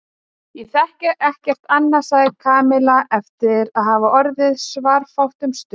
Ég þekki ekkert annað sagði Kamilla eftir að hafa orðið svarafátt um stund.